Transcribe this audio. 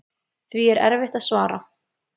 Því er erfitt að svara.